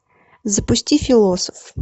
запусти философ